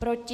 Proti?